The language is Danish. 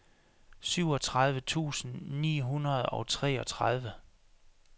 syvogtredive tusind ni hundrede og treogtredive